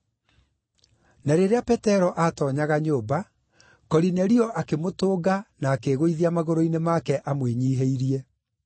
Na rĩrĩa Petero aatoonyaga nyũmba, Korinelio akĩmũtũnga na akĩĩgũithia magũrũ-inĩ make amwĩnyiihĩrie.